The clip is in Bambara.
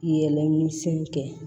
Yɛlɛ ni sen kɛ